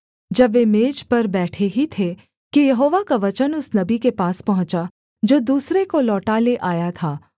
जब वे मेज पर बैठे ही थे कि यहोवा का वचन उस नबी के पास पहुँचा जो दूसरे को लौटा ले आया था